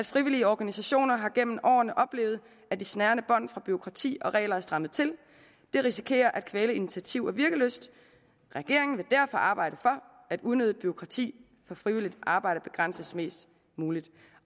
frivillige organisationer har gennem årene oplevet at de snærende bånd fra bureaukrati og regler er strammet til det risikerer at kvæle initiativ og virkelyst regeringen vil derfor arbejde for at unødigt bureaukrati for frivilligt arbejde begrænses mest muligt